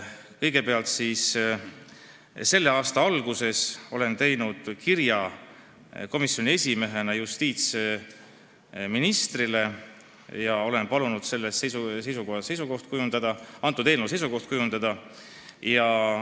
Kõigepealt, selle aasta alguses ma koostasin komisjoni esimehena kirja justiitsministrile, kus ma palusin selle eelnõu kohta seisukoht kujundada.